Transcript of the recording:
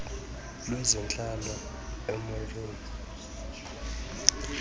lwezentlalo uneo moerane